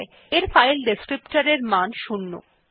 এর file descriptor মান 0